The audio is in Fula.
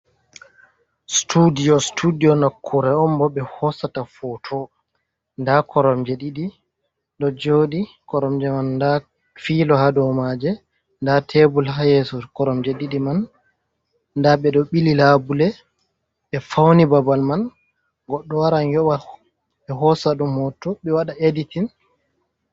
Studio, studio nakure on bo ɓe hosata foto nda koromje ɗiɗi ɗo joɗi, koromje man bda filo ha dou maje nda tebul ha yesso korom je ɗiɗi man, nda ɓe ɗo ɓili labule ɓe fauni babal man, godɗo waran yoɓɓa ɓe hosa ɗum hoto ɓe waɗa editing.